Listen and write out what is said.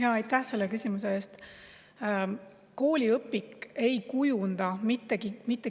Aitäh selle küsimuse eest!